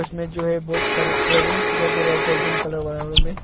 इसमें जो है बहुत सारे इयर रिंग्स दिखाई दे रहा है गोल्डन कलर में।